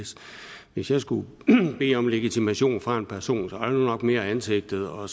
hvis jeg skulle bede om legitimation fra en person var det nok mere ansigtet og